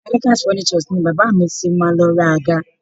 Adekaz Furnitures ni bàbá mi ti máa lọ ra àga